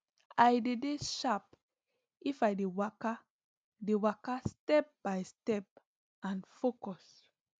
i dey dey sharp if i dey waka dey waka step by step and focus